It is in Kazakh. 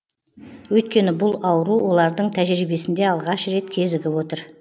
өйткені бұл ауру олардың тәжірибесінде алғаш рет кезігіп отыр